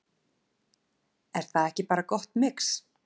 Er það ekki bara gott mix?